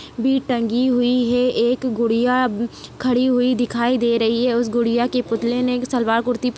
भी टंगी हुई हैं एक गुड़िया खड़ी हुई दिखाई दे रही हैं उस गुड़िया के पुतले ने सलवार कुर्ती--